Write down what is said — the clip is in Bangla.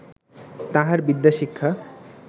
তাহার বিদ্যা শিক্ষা